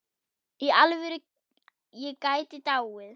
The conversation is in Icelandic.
Í alvöru, ég gæti dáið.